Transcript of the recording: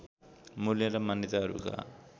मूल्य र मान्यताहरूका